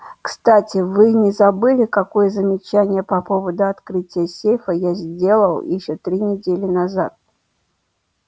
кстати вы не забыли какое замечание по поводу открытия сейфа я сделал ещё три недели назад